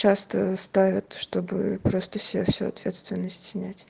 часто ставят чтобы просто с себя всю ответственность снять